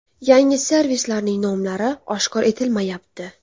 Yangi servislarning nomlari oshkor etilmayapti.